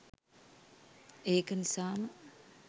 ඒක නිසාම